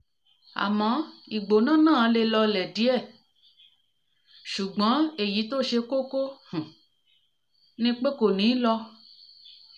àmọ̀ ìgbóná náà le lọlẹ̀ díẹ̀ ṣùgbọ́n díẹ̀ ṣùgbọ́n èyí tó ṣe kókó um ni pé kò ní lọ